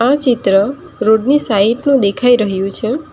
આ ચિત્ર રોડની સાઈડનુ દેખાઈ રહ્યું છે.